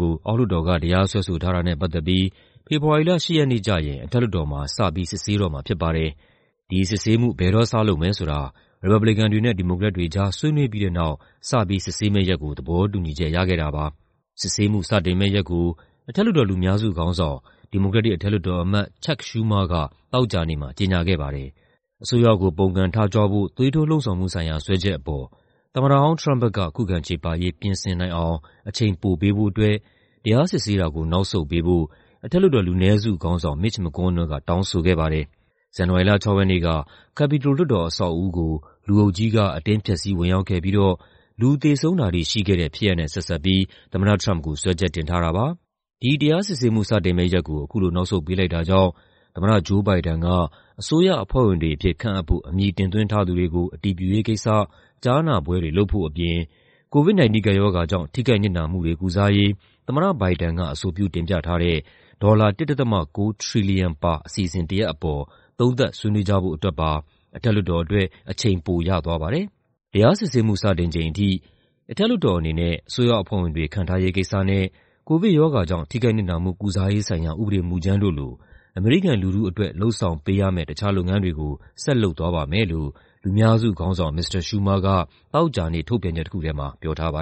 ကို အောက်လွှတ်တော်က တရားစွဲဆိုထားတာနဲ့ ပတ်သက်ပြီး ဖေဖော်ဝါရီလ ၈ ရက်နေ့ကျရင် အထက်လွှတ်တော်မှာ စပြီး စစ်ဆေးတော့မှာ ဖြစ်ပါတယ်။ ဒီစစ်ဆေးမှု ဘယ်တော့စလုပ်မယ်ဆိုတာ ရီပတ်ဘလီကန်တွေနဲ့ ဒီမိုကရက်တွေကြား ဆွေးနွေးပြီးတဲ့နောက် စပြီး စစ်ဆေးမယ့်ရက်ကို သဘောတူညီချက် ရခဲ့တာပါ။ စစ်ဆေးမှု စတင်မယ့်ရက်ကို အထက်လွှတ်တော် လူများစုခေါင်းဆောင် ဒီမိုကရက်တစ် အထက်လွှတ်တော်အမတ် Chuck Schumer က သောကြာနေ့မှာ ကြေညာခဲ့ပါတယ်။ အစိုးရကို ပုန်ကန်ထကြွဖို့ သွေးထိုးလှုံ့ဆော်မှုဆိုင်ရာ စွဲချက်အပေါ် သမ္မတဟောင်း Trump ဘက်က ခုခံချေပရေး ပြင်ဆင်နိုင်အောင် အချိန်ပိုပေးဖို့အတွက် တရားစစ်ဆေးတာကို နောက်ဆုတ်ပေးဖို့ အထက်လွှတ်တော် လူနည်းစုခေါင်းဆောင် Mitch McConnell က တောင်းဆိုခဲ့ပါတယ်။ ဇန်နဝါရီလ ၆ ရက်နေ့က Capitol လွှတ်တော်အဆောက်အဦးကို လူအုပ်ကြီးက အတင်းဖျက်ဆီး ဝင်ရောက်ခဲ့ပြီးတော့ လူသေဆုံးတာထိ ရှိခဲ့တဲ့ဖြစ်ရပ်နဲ့ ဆက်စပ်ပြီး သမ္မတ Trump ကို စွဲချက်တင်ထားတာပါ။ ဒီတရားစစ်ဆေးမှု စတင်မယ့်ရက်ကို အခုလို နောက်ဆုတ်ပေးလိုက်တာကြောင့် သမ္မတ Joe Biden က အစိုးရအဖွဲ့ဝင်တွေအဖြစ် ခန့်အပ်ဖို့ အမည်တင်သွင်းထားသူတွေကို အတည်ပြုရေးကိစ္စ ကြားနာပွဲတွေ လုပ်ဖို့အပြင် COVID-19 ကပ်ရောဂါကြောင့် ထိခိုက်နစ်နာမှုတွေ ကုစားရေး သမ္မတ Biden က အဆိုပြု တင်ပြထားတဲ့ ဒေါ်လာ ၁.၉ ထရီလီယံပါ အစီအစဉ်တရပ်အပေါ် သုံးသပ်ဆွေးနွေးကြဖို့အတွက်ပါ အထက်လွှတ်တော်အတွက် အချိန်ပိုရသွားပါတယ်။ တရားစစ်ဆေးမှု စတင်ချိန်အထိ "အထက်လွှတ်တော်အနေနဲ့ အစိုးရအဖွဲ့ဝင်တွေ ခန့်ထားရေးကိစ္စနဲ့ ကိုဗစ်ရောဂါကြောင့် ထိခိုက်နစ်နာမှု ကုစားရေးဆိုင်ရာ ဥပဒေမူကြမ်းတို့လို အမေရိကန်လူထုအတွက် လုပ်ဆောင်ပေးရမယ့် တခြားလုပ်ငန်းတွေကို ဆက်လုပ်သွားပါမယ်" လို့ လူများစုခေါင်းဆောင် မစ္စတာ Schumer က သောကြာနေ့ ထုတ်ပြန်ချက်တခုထဲမှာ ပြောထားပါ